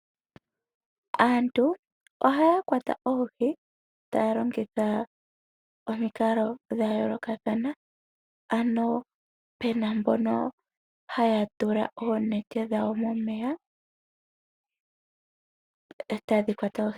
Aantu ohaa kwata oohi taa longitha omikalo dha yoolokathana. Opu na mbono haa longitha oonete opo yakwate oohi.